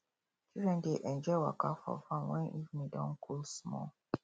children dey enjoy waka for farm when evening don cool small